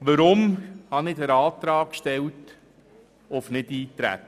Weshalb habe ich den Antrag auf Nichteintreten gestellt?